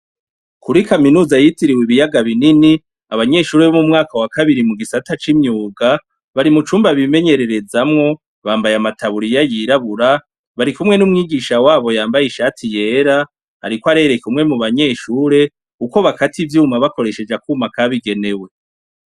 Kuri kaminuza yitiriwe ibiyaga binini abanyeshure bo mu mwaka wakabiri mu gisata c'imyuga bari mucumba bimenyererezamwo bambaye amataburiya yirabura barikumwe n'umwigisha wabo yambaye ishati yera ariko arereka umwe mubanyeshure uko bakata ivyuma bakoresheje akuma kabigenewe.